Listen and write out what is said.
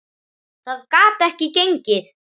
Það gat ekki gengið.